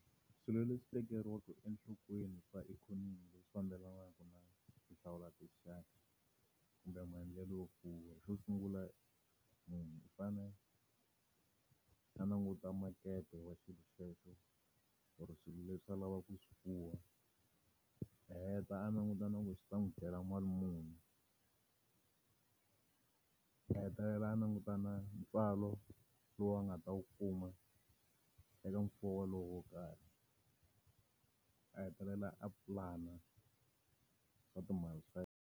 Swilo leswi tekeriwaka enhlokweni swa ikhonomi leswi fambelanaka na ti hlawula tinxaka, kumbe maendlelo yo fuwa xo sungula, munhu u fanele a languta makete wa xilo xexo or swilo leswi a lavaka ku swi fuwa. A heta a langutana ku langutela mali muni a hetelela a langutana ntswalo lowu nga ta wu kuma eka mfuwo lowu wo karhi, a hetelela a plan-a swa ti mali ta .